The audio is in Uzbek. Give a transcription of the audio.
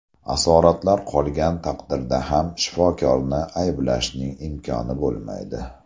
Asoratlar qolgan taqdirda ham shifokorni ayblashning imkoni bo‘lmaydi.